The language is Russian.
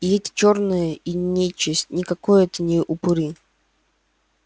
и эти чёрные и нечисть и никакой это не упыри